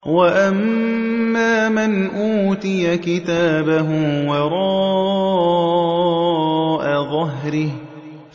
وَأَمَّا مَنْ أُوتِيَ كِتَابَهُ وَرَاءَ ظَهْرِهِ